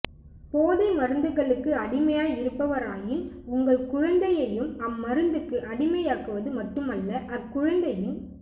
போதை மருந்துகளுக்கு அடிமையாய் இருப்பவராயின் உங்கள் குழந்தையையும் அம்மருந்துக்கு அடிமையாக்குவது மட்டுமல்ல அக்குழந்தையின்